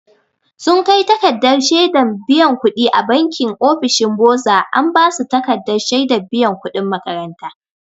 Sun kai takardar shedan biyan kuɗi a banki ofishin boza an ba su takardar shaidar biyan kuɗin makaranta.